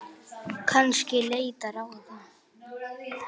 Kannski leita ráða.